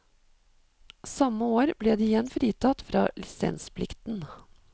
Samme år ble de igjen fritatt fra lisensplikten.